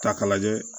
Ta k'a lajɛ